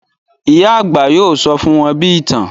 Ìyá àgbà yóò sọ fún wọn bí ìtàn